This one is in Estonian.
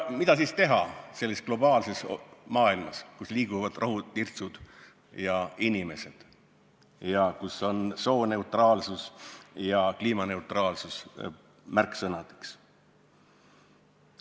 Mida siis teha selles globaalses maailmas, kus liiguvad rohutirtsud ja inimesed ning kus märksõnadeks on "sooneutraalsus" ja "kliimaneutraalsus"?